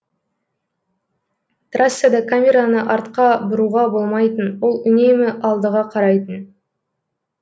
трассада камераны артқа бұруға болмайтын ол үнемі алдыға қарайтын